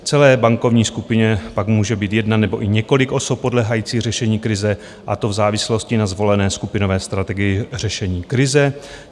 V celé bankovní skupině pak může být jedna nebo i několik osob podléhajících řešení krize, a to v závislosti na zvolené skupinové strategii řešení krize.